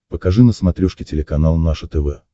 покажи на смотрешке телеканал наше тв